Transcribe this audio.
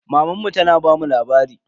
Mamanmu tana bamu labari.